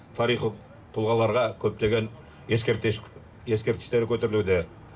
тарихы тұлғаларға көптеген ескерткіштер көтерілуде